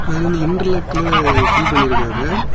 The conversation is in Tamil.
அது வந்து இன்டர்லெக்ல ஃபில் பண்ணிருக்காவ.